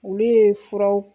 Olu ye furaw